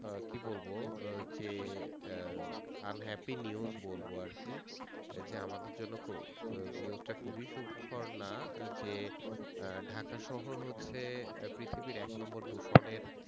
আহ কি বলবো আহ যে আহ unhappy news বলবো আরকি, এই যে আমাদের জন্য আহ news টা খুব সুখকর না আহ যে আহ ঢাকা শহর হচ্ছে আহ পৃথিবীর এক number দূষণের